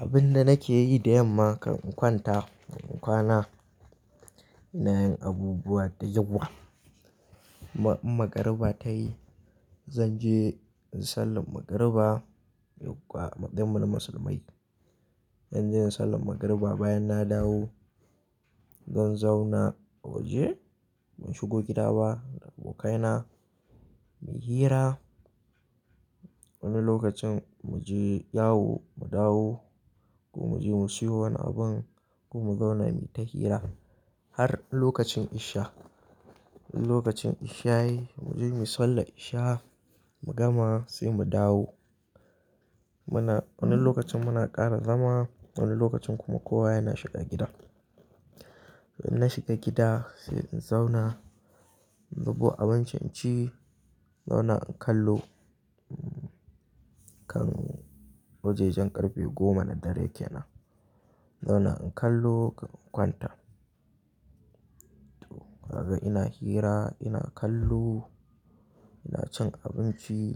Abinda nake yi da yamma kan in kwanta, kan in kwana ina yin abubuwa da yawa. In magriba ta yi, zan je in sallan magriba. Yakwa a matsayin mu na musulmai. In je in sallan magriba bayan na dawo, zan zauna a waje. Ban shigo gida ba da abokaina mu yi hira. Wani lokacin mu je yawo mu dawo ko mu je mu siyo wani abun ko mu zauna mu yi ta hira har lokacin isha. In lokacin isha ya yi, mu je muyi sallar isha mu gama sai mu dawo. Muna-- wani lokacin muna ƙara zama, wani lokacin kuma kowa yana shiga gida. In na shiga gida sai in zauna, in zubo abinci in ci, zauna in kallo kan wajejen ƙarfe goma na dare ke nan. Zauna in kallo kan kwanta. To, kaga ina hira, ina kallo, ina cin abinci,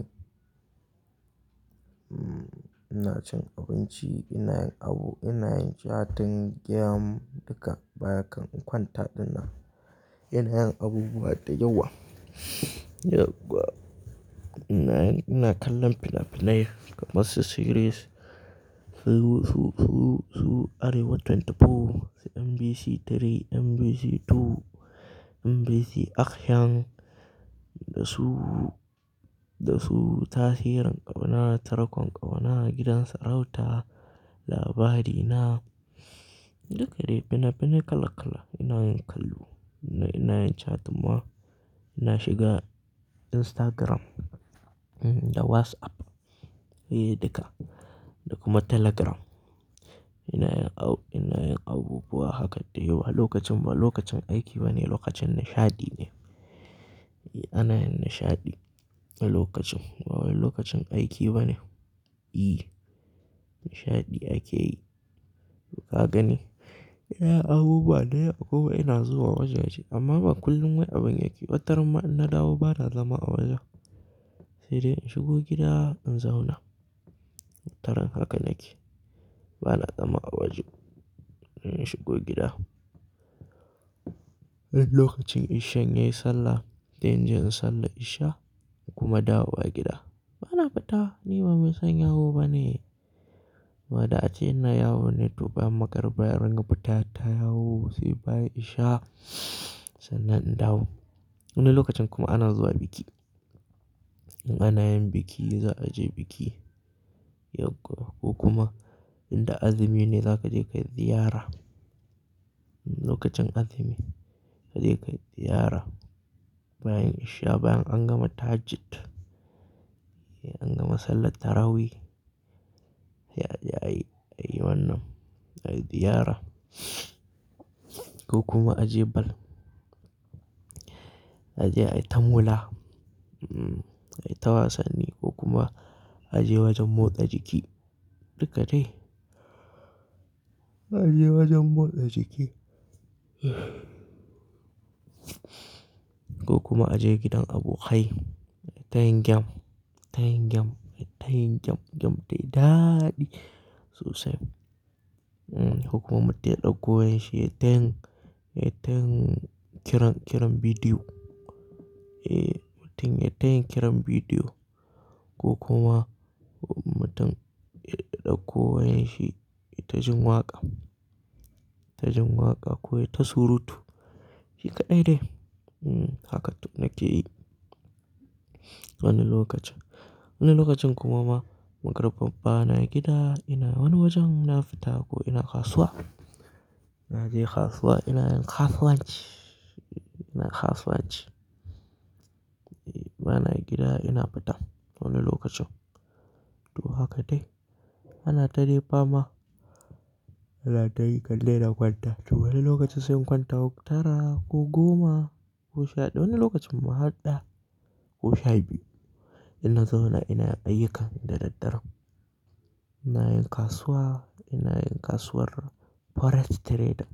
ina cin abinci, ina yin abu, ina yin catin game duka bayan kan in kwanta ɗinnan, ina yin abubuwa da yawa. Yukwa ina, ina kallon fina-finai kamar su "series" su, su, su, su Arewa24, su MBC 3, MBC 2, MBC Afghan da su, da su Tasirin ƙauna, Tarkon ƙauna, gidan sarauta, labarina duka dai fina-finai kala kala ina yin kallo. Ina yin catin ma ina shiga Instagram, um, da WhatsApp, eh duka da kuma Telegram. Ina yin au-- ina yin abubuwa haka dai wa lokacin ba lokacin aiki ba ne lokacin nishaɗi ne. Eh ana yin nishaɗi a lokacin. Ba wai lokacin aiki ba ne. I nishaɗi ake yi. To ka gani? Ina abubuwa da yawa. Kuma ina zuwa wajaje amma ba kullum wai abin yake. Wataran ma in na dawo ba na zama a waje. Sai dai in shigo gida in zauna. Taron haka nake. Ba na zama a waje. In shigo gida. In lokacin ishan ya yi sallah, dai in je in sallar isha kuma dawo a gida. Ba na fita. Ni ba mai son yawo ba ne. Wadda ace ina yawo ne to bayan magriba, bayan rangar fita ta yawo sai bayan isha sannan in dawo. Wani lokacin kuma ana zuwa biki. In ana yin biki za a je biki. Yukwa ko kuma in da azumi ne za ka je ka yi ziyara. Lokacin azumi ka je ka yi ziyara bayan isha bayan an gama tahajjud, eh an gama sallan tarawi. Sai, aje ayi, ayi wannan, ayi ziyara ko kuma a je bal. A je a yi ta maula, mm, a yi ta wasanni ko kuma a je wajen motsa jiki. Duka dai. A je wajen motsa jiki ko kuma a je gidan abokai a yi tayin game, tayin game, ayi tayin game, game dai daɗi sosai. Mm, ko kuma mutum ya ɗauko wayan shi ya tayin, ya tayin kiran, kiran bidiyo. Eh, mutum ya tayi kiran bidiyo ko kuma mutum ya ɗauko wayan shi ya taji waƙa, ya taji waƙa ko yayi ta surutu. Shi kaɗai dai. Mm, haka duk nake yi. Wani lokacin. Wani lokacin kuma ma magriba ba na gida, ina wani wajen na fita ko ina kasuwa. Na je kasuwa ina yin kasuwanci, ina kasuwanci. Eh, ba na gida ina fita to wannan lokacin. To, haka dai. Ana ta dai fama ana ta yi kande na kwanta. To, wannan lokacin sai in kwanta sau tara ko goma ko sha. Wani lokacin ma har ɗaya ko sha biyu ina zauna ina yin ayyuka dadaddaren. Ina yin kasuwa, ina yin kasuwar Forex Trading.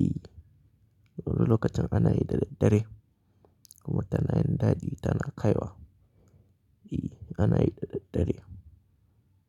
I wannan lokacin ana yi daddare. Kuma tana yin daɗi tana kaiwa. I ana yi dadaddare.